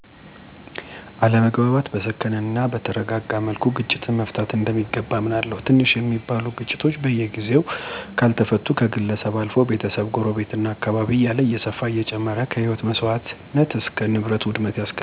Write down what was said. አለመግባባቶችን በሰከነ እናበተረጋጋ መልኩ ግጭትን መፍታት እንደሚገባ አምናለሁ። ትንሽ ሚባሉ ግጭቶች በጊዜው ካልተፈቱ ከግለሰብ አልፈው፣ ቤተሰብ፣ ጎረቤት፣ እና አካባቢ እያለ እየሰፈና እየጨመረ ከህይወት መሰዋትነት እስከ ንብረት ውድመት ያስከትላል። ለዚህ አንድ ተስማሚ ምሳሌአዊ አነጋገር የሚሆን፦ ሳይቀጠል በቅጠል ይላል። ስለዚህ ግጭቶችን፣ አለመግባባቶችን ማንኛው ማህቀረሰብ በወይይትናበመነጋገር ችግሮችን መፍታት ያስፈልጋል።